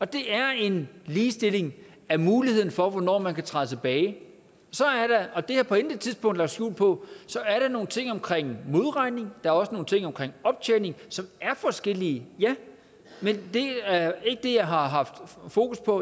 det er en ligestilling af muligheden for hvornår man kan træde tilbage det har jeg på intet tidspunkt lagt skjul på så er der nogle ting omkring modregning der er også nogle ting omkring optjening som er forskellige ja men det er ikke det jeg har haft fokus på